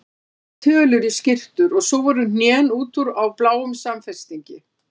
Það vantaði tölur í skyrtur og svo voru hnén út úr á bláum samfestingi.